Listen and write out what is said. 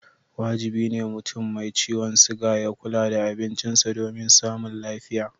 Wajibi ne mutum mai ciwon siga ya kula da abincisa domin samun lafiya.